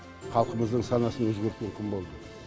халқымыздың санасын өзгертетін күн болды